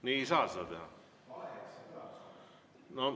Nii ei saa seda teha.